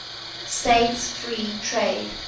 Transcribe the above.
states free trade